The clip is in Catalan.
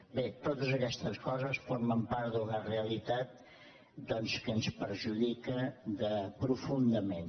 bé totes aquestes coses formen part d’una realitat que ens perjudica profundament